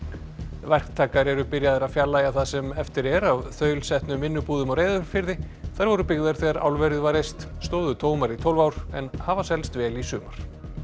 verktakar eru byrjaðir að fjarlægja það sem eftir er af þaulsetnum vinnubúðum á Reyðarfirði þær voru byggðar þegar álverið var reist stóðu tómar í tólf ár en hafa selst vel í sumar